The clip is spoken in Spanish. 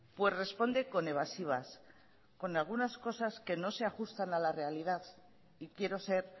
pues responde con evasivas con algunas cosas que no se ajustan a la realidad y quiero ser